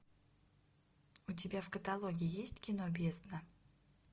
у тебя в каталоге есть кино бездна